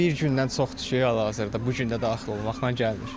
Bir gündən çoxdur ki, hal-hazırda bu gün də daxil olmaqla gəlmir.